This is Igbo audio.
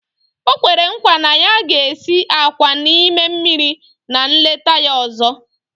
O kwere nkwa na ya ga-esi àkwá n'ime mmiri na nleta ya ọzọ